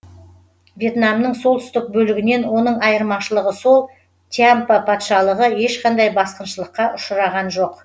вьетнамның солтүстік бөлігінен оның айырмашылығы сол тьямпа патшалығы ешқандай басқыншылыққа ұшыраған жоқ